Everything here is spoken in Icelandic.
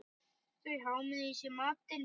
Þau hámuðu í sig matinn.